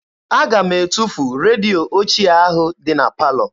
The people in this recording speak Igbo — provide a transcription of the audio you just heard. Aga m etufu redio ochie ahụ dị na palọ.